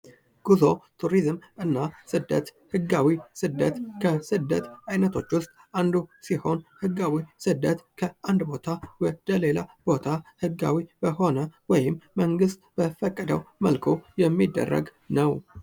ጉዞ ቱሪዝም እና ስደት ህጋዊ ስደት ከስደት አይነቶች ዉስጥ አንዱ ሲሆን ህጋዊ ስደት ከአንድ ቦታ ወደ ሌላ ቦታ ህጋዊ በሆነ ወይም መንግስት በፈቀደው መልኩ የሚደረግ ነው።